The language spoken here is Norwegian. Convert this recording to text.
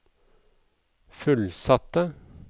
fullsatte